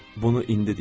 Bunu indi deyirəm.